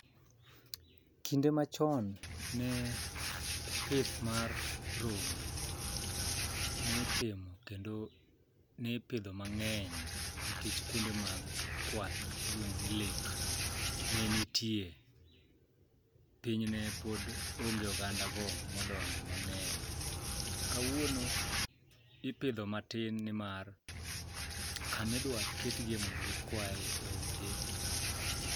Kinde machon ne pith mar rombe nitimo kendo nipidho mang'eny nikech kuonde mag kwath miluongo ni lek ne nitie, piny ne pod onge ogandago modonje mang'eny. Kawuono ipidho matin nimar kamidwaketgie mondo gikwae onge.